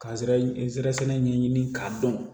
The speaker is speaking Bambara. Ka zɛ ɛ zɛrɛ sɛnɛ ɲɛɲini k'a dɔn